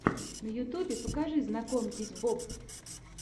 на ютьюбе покажи знакомьтесь боб